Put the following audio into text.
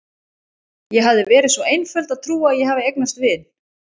Ég hafði verið svo einföld að trúa að ég hefði eignast vini.